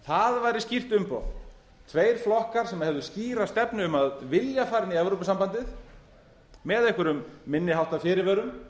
það væri skýrt umboð tveir flokkar sem hefðu skýra stefnu um að vilja fara inn í evrópusambandið með einhverjum minni háttar fyrirvörum